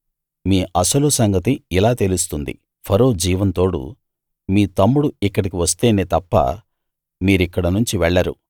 మీ అసలు సంగతి ఇలా తెలుస్తుంది ఫరో జీవం తోడు మీ తమ్ముడు ఇక్కడికి వస్తేనే తప్ప మీరిక్కడనుంచి వెళ్ళరు